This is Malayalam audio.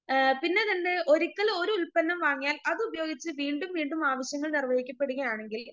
പിന്നേ രണ്ട് ഒരിക്കൽ ഒരു ഉൽപ്പന്നം വാങ്ങിയാൽ അതുപയോഗിച്ച് വീണ്ടും വീണ്ടും ആവശ്യങ്ങൾ നിർവഹിക്കപ്പെടുകയാണെങ്കിൽ